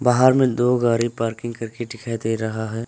बाहर में दो गाड़ी पार्किंग करके दिखाई दे रहा है।